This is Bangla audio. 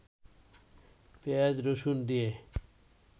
পেঁয়াজ, রসুন দিয়ে